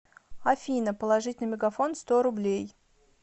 афина положить на мегафон сто рублей